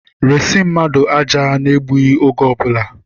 Resi mmadụ aja n'egbughị oge ọbụla!